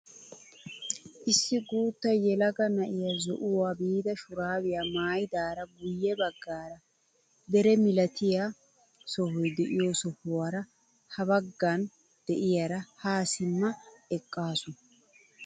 Issi guutta yelaga na'iyaa zo'uwaawu biida shuraabiyaa maayidara guye baggaara dere milatiyaa sohoy de'iyoo sohuwaara ha baggan de'iyaara haa simma eqqasu.